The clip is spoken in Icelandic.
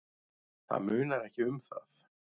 Það munar ekki um það.